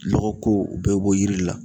Lɔgɔko o bɛɛ be bɔ yiri la